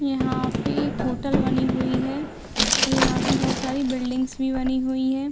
यहाँ पे एक होटल बनी हुई है और यहाँ पे बहोत सारी बिल्डिंग्स भी बनी हुई है।